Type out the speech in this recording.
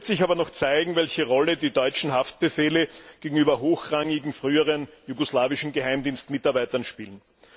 Da wird sich aber noch zeigen, welche Rolle die deutschen Haftbefehle gegenüber hochrangigen früheren jugoslawischen Geheimdienstmitarbeitern spielen.